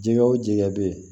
Jɛgɛ o jɛgɛ bɛ ye